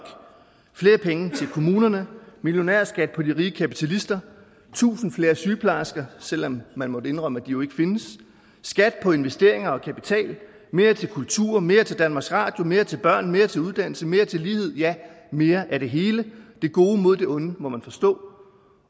flere penge til kommunerne millionærskat på de rige kapitalister tusind flere sygeplejersker selv om man måtte indrømme at de jo ikke findes skat på investeringer og kapital mere til kultur mere til danmarks radio mere til børn mere til uddannelse mere til livet ja mere af det hele det gode mod det onde må man forstå